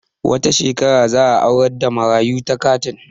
Wata shekarar za a aurar da marayu takatin